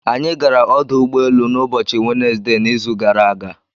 Anyị gara ọdụ ụgbọelu n'ụbọchị Wenezde n'izu gara aga.